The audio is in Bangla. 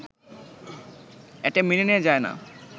এটা মেনে নেয়া যায় না